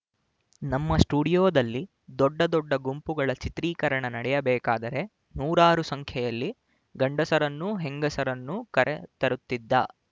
ನಮ್ಮ ಸ್ಟುಡಿಯೋದಲ್ಲಿ ದೊಡ್ಡ ದೊಡ್ಡ ಗುಂಪುಗಳ ಚಿತ್ರೀಕರಣ ನಡೆಯಬೇಕಾದರೆ ನೂರಾರು ಸಂಖ್ಯೆಯಲ್ಲಿ ಗಂಡಸರನ್ನೂ ಹೆಂಗಸರನ್ನೂ ಕರೆತರುತ್ತಿದ್ದ